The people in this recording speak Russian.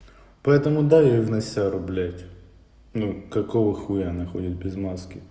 поэтому доверенности руб ну какого х находит без мата